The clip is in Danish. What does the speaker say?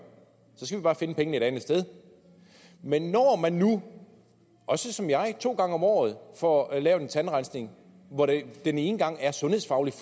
så skal vi bare finde pengene et andet sted men når man nu også som jeg to gange om året får lavet en tandrensning hvor det den ene gang sundhedsfagligt